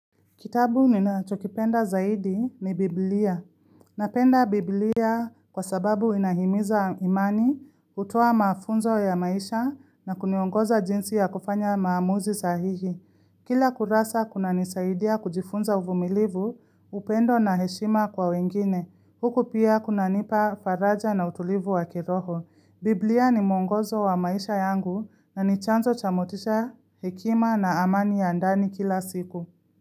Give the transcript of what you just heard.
Kitabu nina chokipenda zaidi ni Biblia. Napenda Biblia kwa sababu inahimiza imani, utoa mafunzo ya maisha na kuniongoza jinsi ya kufanya maamuzi sahihi. Kila kurasa kuna nisaidia kujifunza uvumilivu, upendo na heshima kwa wengine. Huku pia kuna nipa faraja na utulivu wa kiroho. Biblia ni mongozo wa maisha yangu na nichanzo chamotisha hekima na amani ya andani kila siku.